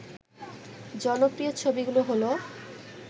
জনপ্রিয় ছবিগুলো হলো